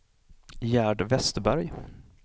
Gerd Vesterberg